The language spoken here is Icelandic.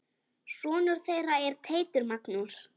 Sonur þeirra er Teitur Magnús.